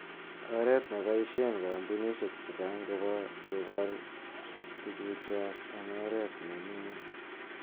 Oret neboishen kompunisiek chechang kobor tugukchwak en oret ne niin.